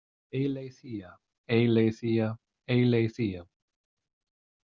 Eileiþýa, Eileiþýa, Eileiþýa.